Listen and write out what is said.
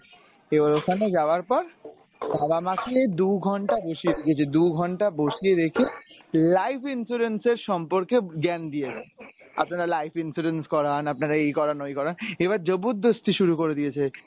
এবার ওখানে যাবার পর বাবা মাকে দু’ঘন্টা বসিয়ে রেখেছে দু’ঘন্টা বসিয়ে রেখে life insurance এর সম্পর্কে জ্ঞান দিয়ে যাচ্ছে। আপনারা life insurance করান আপনারা এই করান ঐ করান এবার জবরদস্তি শুরু করে দিয়েছে।